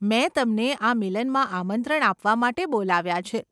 મેં તમને આ મિલનમાં આમંત્રણ આપવા માટે બોલાવ્યા છે.